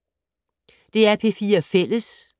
DR P4 Fælles